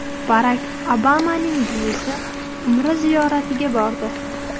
Barak Obamaning buvisi Umra ziyoratiga bordi.